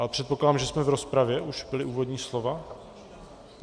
Ale předpokládám, že jsme v rozpravě, už byla úvodní slova.